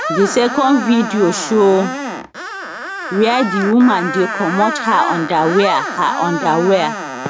di second video show wia di woman dey comot her underwear her underwear